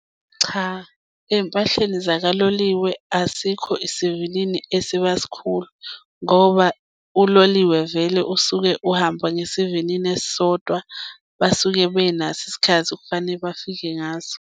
Cha, ey'mpahleni zakaloliwe asikho isivinini esiba sikhulu ngoba uloliwe vele usuke uhamba ngesivinini esisodwa basuke benaso isikhathi okufane bafike ngaso.